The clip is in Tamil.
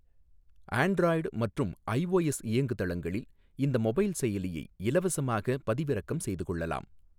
ஆண்ட்ராய்டு மற்றும் ஐஓஎஸ் இயங்குதளங்களில் இந்த மொபைல் செயலியை இலவசமாக பதிவிறக்கம் செய்து கொள்ளலாம்.